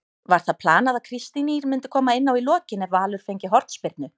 Var það planað að Kristín Ýr myndi koma inná í lokin ef Valur fengi hornspyrnu?